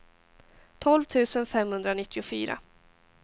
tolv tusen femhundranittiofyra